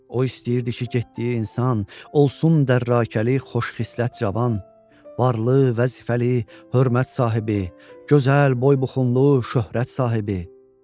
O istəyirdi ki, getdiyi insan olsun dərrəkəli, xoşxislət cavan, varlı, vəzifəli, hörmət sahibi, gözəl boybuxunlu, şöhrət sahibi.